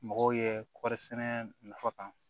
Mɔgɔw ye kɔɔri sɛnɛ nafa kan